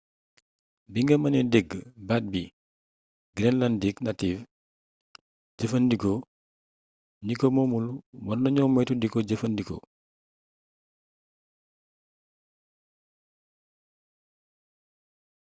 binga meené dégg baat bi greenlandic native jeefeendiko gniko moomul warna gno meeytu diko jeeffee ndiko